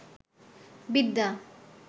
বিদ্যা